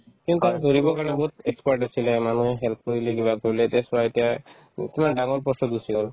সেইকাৰণে দৌৰিবৰ কাৰণে বহুত expert আছিলে মানুহে help কৰিলে কিবা কৰিলে এতিয়া চোৱা এতিয়া উম কিমান ডাঙৰ post তত গুচি গ'ল